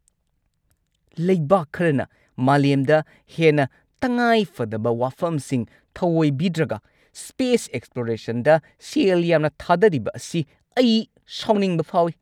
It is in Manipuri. ꯂꯩꯕꯥꯛ ꯈꯔꯅ ꯃꯥꯂꯦꯝꯗ ꯍꯦꯟꯅ ꯇꯉꯥꯏꯐꯗꯕ ꯋꯥꯐꯝꯁꯤꯡ ꯊꯑꯣꯏꯕꯤꯗ꯭ꯔꯒ ꯁ꯭ꯄꯦꯁ ꯑꯦꯛꯁꯄ꯭ꯂꯣꯔꯦꯁꯟꯗ ꯁꯦꯜ ꯌꯥꯝꯅ ꯊꯥꯗꯔꯤꯕ ꯑꯁꯤ ꯑꯩ ꯁꯥꯎꯅꯤꯡꯕ ꯐꯥꯎꯏ꯫